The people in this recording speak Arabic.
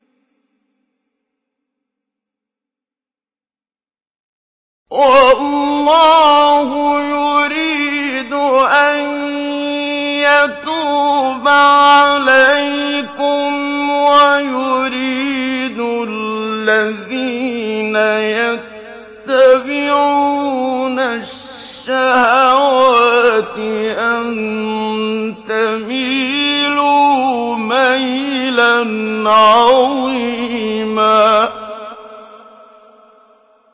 وَاللَّهُ يُرِيدُ أَن يَتُوبَ عَلَيْكُمْ وَيُرِيدُ الَّذِينَ يَتَّبِعُونَ الشَّهَوَاتِ أَن تَمِيلُوا مَيْلًا عَظِيمًا